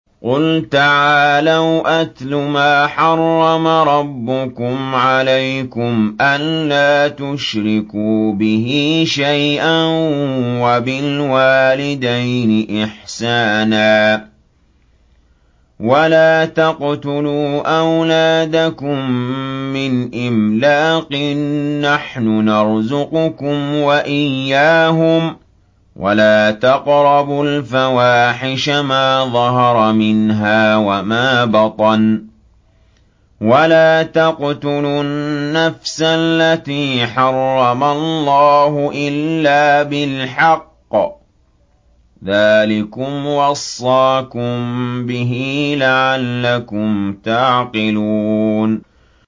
۞ قُلْ تَعَالَوْا أَتْلُ مَا حَرَّمَ رَبُّكُمْ عَلَيْكُمْ ۖ أَلَّا تُشْرِكُوا بِهِ شَيْئًا ۖ وَبِالْوَالِدَيْنِ إِحْسَانًا ۖ وَلَا تَقْتُلُوا أَوْلَادَكُم مِّنْ إِمْلَاقٍ ۖ نَّحْنُ نَرْزُقُكُمْ وَإِيَّاهُمْ ۖ وَلَا تَقْرَبُوا الْفَوَاحِشَ مَا ظَهَرَ مِنْهَا وَمَا بَطَنَ ۖ وَلَا تَقْتُلُوا النَّفْسَ الَّتِي حَرَّمَ اللَّهُ إِلَّا بِالْحَقِّ ۚ ذَٰلِكُمْ وَصَّاكُم بِهِ لَعَلَّكُمْ تَعْقِلُونَ